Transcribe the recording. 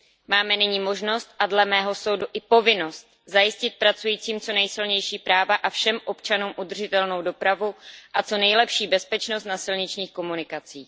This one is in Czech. Máme nyní možnost a dle mého soudu i povinnost zajistit pracujícím co nejsilnější práva a všem občanům udržitelnou dopravu a co nejlepší bezpečnost na silničních komunikacích.